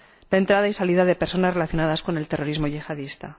la entrada y salida de personas relacionadas con el terrorismo yihadista.